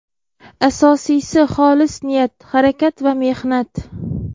Asosiysi xolis niyat, harakat va mehnat.